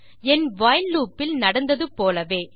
என் while loop இல் நடந்தது போலவே